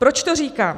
Proč to říkám?